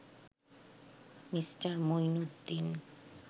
Me. Mueenuddin